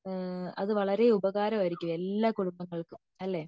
ഏഹ്ഹ് അത് വളരെ ഉപകാരം ആയിരിക്കും എല്ലാ കുടുംബങ്ങൾക്കും അല്ലെ